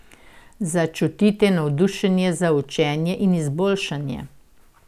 Začutite navdušenje za učenje in izboljšanje.